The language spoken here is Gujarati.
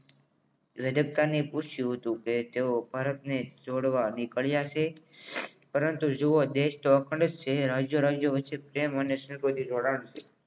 રાજસ્થાની પૂછ્યું હતું કે તેઓ પૂછ્યું હતું કે તેઓ ભારતને જોડવા નીકળ્યા છે પરંતુ જોવા બેસતો પ્રેમ અને સંબંધની જોડાણ છે